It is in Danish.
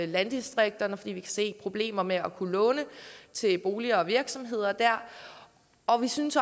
landdistrikterne fordi vi kan se at problemer med at kunne låne til boliger og virksomheder dér og vi synes